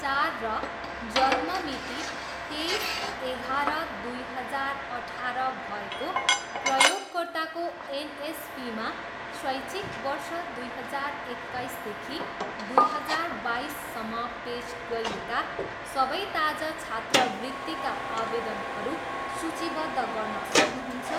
चार र जन्म मिति तेइस, एगाह्र, दुई हजार अठाह्र भएको प्रयोगकर्ताको एनएसपीमा शैक्षिक वर्ष दुई हजार एक्काइसदेखि दुई हजार बाइससम्म पेस गरिएका सबै ताजा छात्रवृत्तिका आवेदनहरू सूचीबद्ध गर्न सक्नुहुन्छ?